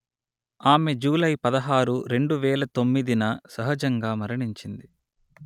ఆమె జూలై పదహారు రెండు వేల తొమ్మిది న సహజంగా మరణించింది